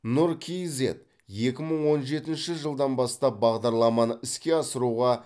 нұр кизед екі мың он жетінші жылдан бастап бағдарламаны іске асыруға